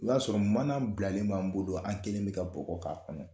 O y'a sɔrɔ mana bilalen b'an bolo, an kɛlen bɛ ka bɔgɔ k'a kɔnɔ.